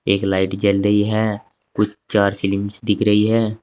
एक लाइट जल रही है कुछ चार सिलिंग्स दिख रही है।